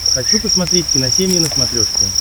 хочу посмотреть киносемья на смотрешке